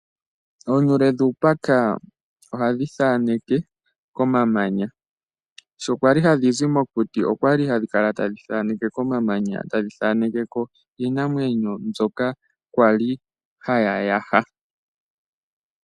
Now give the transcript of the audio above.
Oonuule dhuupaka ohadhi thaaneke komamanya. Sho kwa li hadhi zi mokuti okwa li hadhi kala tadhi thaaneke ko iinamwenyo mbyoka kwali haya yaha.